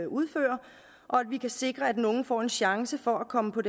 udfører og at vi kan sikre at den unge får en chance for at komme på